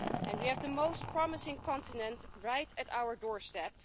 We have the most promising continent right at our doorstep.